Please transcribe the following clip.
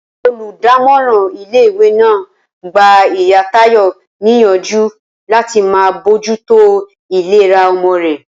Olùdámòràn ilé ìwé náà gba ìyá Táyò níyànjú láti máa bójútó ìlera omo rè